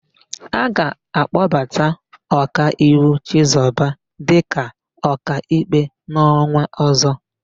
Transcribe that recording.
A ga-akpọbata Ọkaiwu Chizọba dịka Ọkaikpe n'ọnwa ọ̀zọ́.